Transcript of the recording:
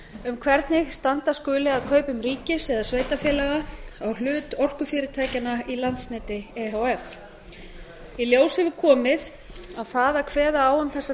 um hvernig standa skuli að kaupum ríkis eða sveitarfélaga á hlut orkufyrirtækjanna í landsneti e h f í ljós hefur komið að það að kveða á um þessa